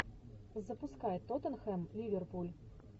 запускай тоттенхэм ливерпуль